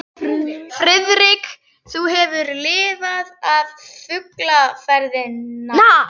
Friðrik, þú hefur lifað af flugferðina